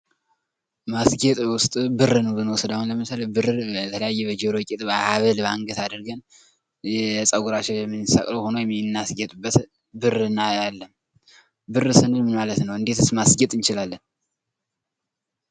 ማስጌጥ በውስጡ ብርን ብንወስድ አሁን ለምሳሌ የተለያየ በጆሮ ጌጥ በሀብል አድርገን ይሄ ከፀጉራችን የምንሰቅለው ሆኖ የምናስጌጥበት ብር እናያለን። ብር ስንል ምን ማለት ነው? እንዴትስ ማስጌጥ እንችላለን?